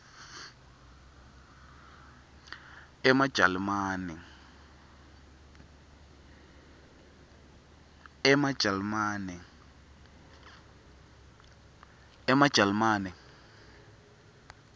emajalimane